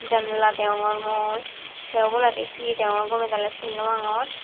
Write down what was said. janala deyongor mui te oboladi he degongor gome dale sin naw pangor.